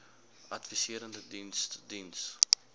adviserende diens diens